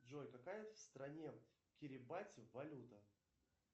джой какая в стране кирибати валюта